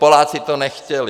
Poláci to nechtěli.